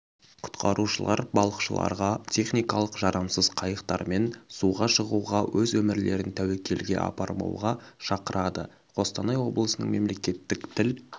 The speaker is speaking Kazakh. құтқарушылар балықшыларға техникалық жарамсыз қайықтармен суға шығуға өз өмірлерін тәуекелге апармауға шақырады қостанай облысының мемлекеттік тіл